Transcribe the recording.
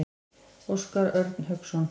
Óskar Örn Hauksson.